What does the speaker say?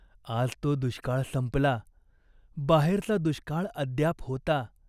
आज तो दुष्काळ संपला. बाहेरचा दुष्काळ अद्याप होता.